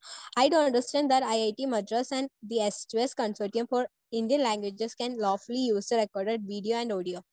Speaker 1 I do understand that I I T Madras and the S two S consortium for Indian languages can lawfully used recorded video and audio.